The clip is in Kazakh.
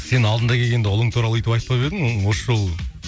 сен алдында келгенде ұлың туралы өйтіп айтпап едің оны осы жолы